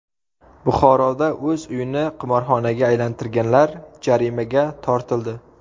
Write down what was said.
Buxoroda o‘z uyini qimorxonaga aylantirganlar jarimaga tortildi.